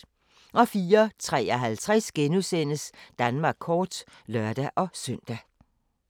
04:53: Danmark kort *(lør-søn)